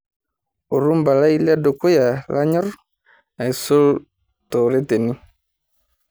orumba lai ledukuya lanyor aisul tooreteni